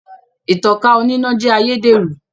Ìtankà oníná jẹ́ ayédèrú